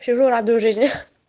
сижу радую жизни